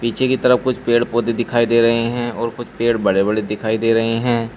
पीछे की तरफ कुछ पेड़ पौधे दिखाई दे रहे हैं और कुछ पेड़ बड़े बड़े दिखाई दे रहे हैं।